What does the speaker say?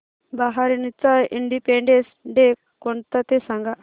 बहारीनचा independence day कोणता ते सांगा